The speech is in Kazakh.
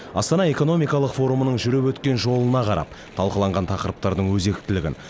астана экономикалық форумының жүріп өткен жолына қарап талқыланған тақырыптардың өзектілігін